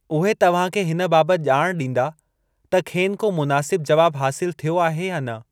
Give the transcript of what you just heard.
उहे तव्हांखे हिन बाबत ॼाण डीं॒दा त खेनि को मुनासिबु जवाबु हासिलु थियो आहे या न।